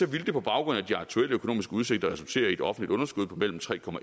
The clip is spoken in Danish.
ville det på baggrund af de aktuelle økonomiske udsigter resultere i et offentligt underskud på mellem tre